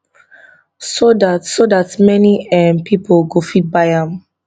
so dat so dat many um pipo go fit buy am